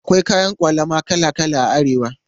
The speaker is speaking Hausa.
Akwai kayan ƙwalama kala kala a Arewa.